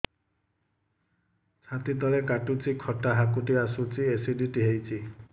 ଛାତି ତଳେ କାଟୁଚି ଖଟା ହାକୁଟି ଆସୁଚି ଏସିଡିଟି ହେଇଚି